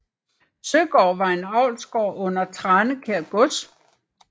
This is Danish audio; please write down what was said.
Søgaard var en avlsgård under Tranekær Gods